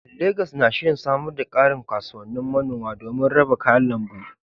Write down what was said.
Legas na shirin samar da ƙarin kasuwannin manoma domin raba kayan lambu.